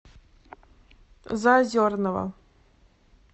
заозерного